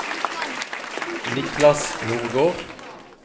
Niklas Nordgård